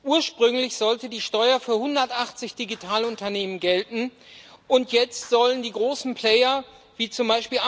Ursprünglich sollte die Steuer für 180 Digitalunternehmen gelten, und jetzt sollen die großen Player, wie z.